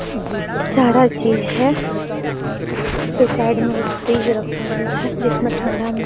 सारा चीज है और यहाँ पे साइड में एक फ्रीज रखा हुआ है जिसमे ठंडा भी --